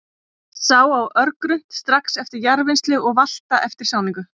Sá á örgrunnt, strax eftir jarðvinnslu og valta eftir sáningu.